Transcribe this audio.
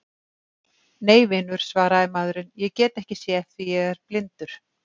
Nei, vinur, svaraði maðurinn, ég get ekki séð því ég er blindur.